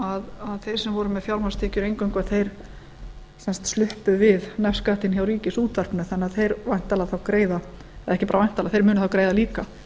að þeir sem voru með fjármagnstekjur eingöngu sluppu við nefskattinn hjá ríkisútvarpinu þannig að þeir munu þá greiða líka